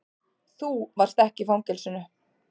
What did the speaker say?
Þú varst ekki í fangelsinu.